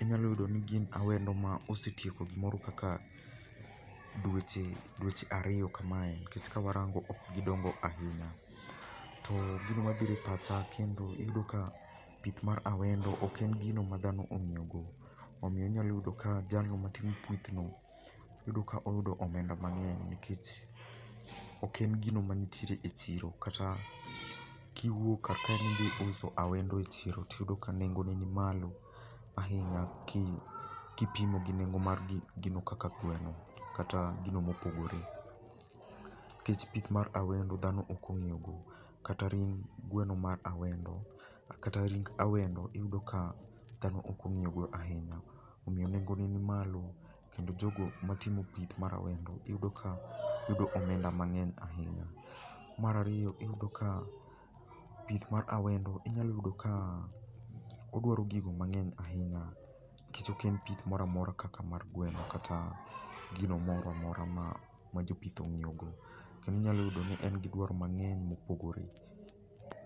inyalo yudo ni gin awendo ma osetieko gimoro kaka dweche dweche ariyo kamae nikech kawarango ok gidongo ahinya. Too gino mabiro epacha kendo iyudo ka pith mar awendo ok en gino madhano ong'iyogo omiyo inyalo yudo jalno matimo pithno iyudo ka oyudo omenda mang'ey nikech ok en gino mantiere echiro kata kiwuok kar kae ni idhi uso awendo e chiro tiyudo ka nengo ne ni malo ahinya ki kipimo gi nengo mar gino kaka gweno kata gino mopogore nikech pith mar awendo dhano ok ong'iyogo kata ring gweno ma awendo, kata ring awendo iyudo kaa dhano ok ong'iyogo ahinya omiyo nengo ne ni malo kendo jogo matimo pith mar awendo iyudo ka yudo omenda mang'eny ahinya. Mar ariyo iyudo ka pith mar awendo inyalo yudo kaa odwaro gigo mang'eny ahinya nikech ok en pith moro amora kaka mar gweno kata gino moro amora ma jopith ong'iyogo kendo inyalo ni en gi dwaro mang'ey ma opogore.